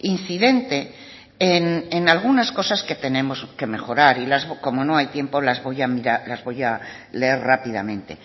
incidente en algunas cosas que tenemos que mejorar y como no hay tiempo las voy a leer rápidamente